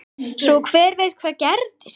Svo hver veit hvað gerist?